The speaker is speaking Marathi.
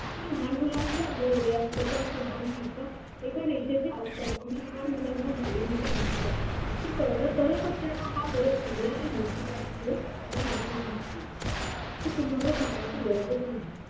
की लहान मुलांच्या भोवया किंवा तसेच लहान एका रेषेच्या असतात आणि लहान ते कळलं तरच आपल्याला हा फरक समजेल